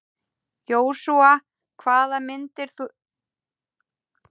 Jósúa, hvaða myndir eru í bíó á miðvikudaginn?